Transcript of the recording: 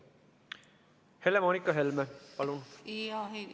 Helle-Moonika Helme, palun!